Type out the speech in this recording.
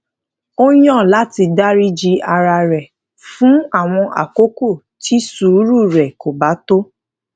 ó yàn láti dáríji ara rè fún àwọn àkókò tí sùúrù rè kò bá tó